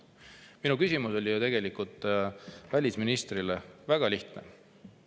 Minu küsimus välisministrile oli ju tegelikult väga lihtne.